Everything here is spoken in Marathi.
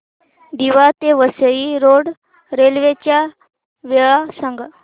दिवा ते वसई रोड रेल्वे च्या वेळा सांगा